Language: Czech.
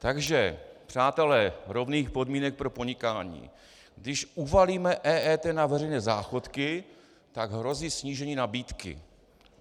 Takže přátelé rovných podmínek pro podnikání, když uvalíme EET na veřejné záchodky, tak hrozí snížení nabídky.